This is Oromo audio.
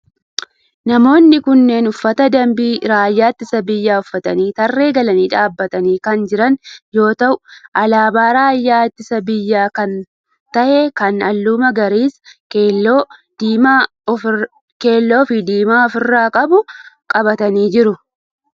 Namoonni kunneen uffata dambii raayyaa ittisa biyyaa uffatanii tarree galanii dhaabbatanii kan jiran yoo ta'u alaabaa raayyaa ittisa biyyaa kan ta'e kan halluu magariisa, keelloo fi diimaa of irraa qabu qabatanii jiru.